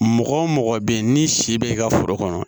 Mɔgɔ wo mɔgɔ be yen ni si be ka foro kɔnɔ